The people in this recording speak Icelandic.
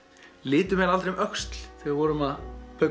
litum aldrei um öxl þegar við vorum að